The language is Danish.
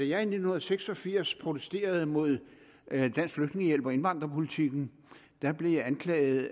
jeg i nitten seks og firs protesterede mod dansk flygtningehjælp og indvandrerpolitikken blev jeg anklaget